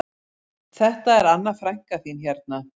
Þetta er Anna frænka þín hérna